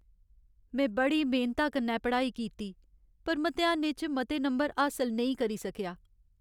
में बड़ी मेह्नता कन्नै पढ़ाई कीती पर मतेहानें च मते नंबर हासल नेईं करी सकेआ।